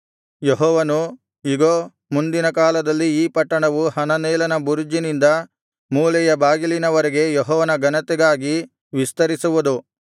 ಯೆಹೋವನು ಇಗೋ ಮುಂದಿನ ಕಾಲದಲ್ಲಿ ಈ ಪಟ್ಟಣವು ಹನನೇಲನ ಬುರುಜಿನಿಂದ ಮೂಲೆಯ ಬಾಗಿಲಿನವರೆಗೆ ಯೆಹೋವನ ಘನತೆಗಾಗಿ ವಿಸ್ತರಿಸುವುದು